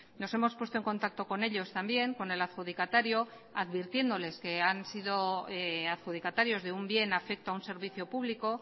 nos hemos puesto en contacto con ellos también con el adjudicatario advirtiéndoles que han sido adjudicatarios de un bien afecto a un servicio público